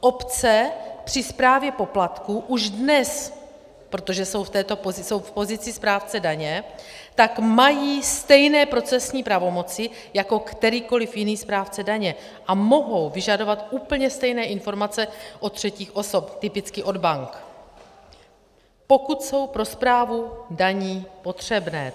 Obce při správě poplatků už dnes, protože jsou v pozici správce daně, tak mají stejné procesní pravomoci jako kterýkoli jiný správce daně a mohou vyžadovat úplně stejné informace od třetích osob, typicky od bank, pokud jsou pro správu daní potřebné.